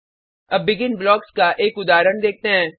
अब begin blocks का एक उदाहरण देखते हैं